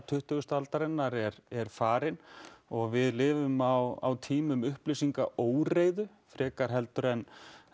tuttugustu aldarinnar er er farin og við lifum á tíma upplýsinga óreiðu frekar heldur en